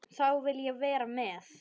Þá vil ég vera með.